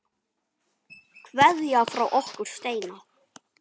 Kveðja frá okkur Steina.